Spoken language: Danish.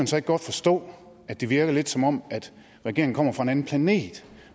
så ikke godt forstå at det virker lidt som om regeringen kommer fra en anden planet